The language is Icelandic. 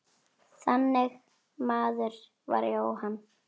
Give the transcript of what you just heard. Þannig maður var Jóhann.